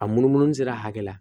A munumunu sira hakɛ la